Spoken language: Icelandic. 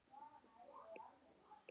Hrufla sig á hverjum steini.